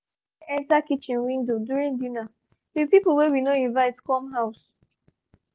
one bird fly enter kitchen window during dinner with people wey we no invite come house